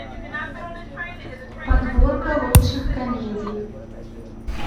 подборка лучших комедий